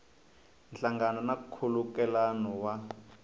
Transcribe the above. nhlangano na nkhulukelano wa